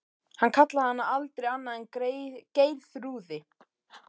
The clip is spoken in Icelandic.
Hann kallaði hana aldrei annað en Geirþrúði.